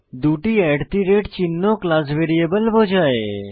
দুটি চিহ্ন class variable বোঝায়